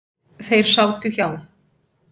Þeir sátu hjá.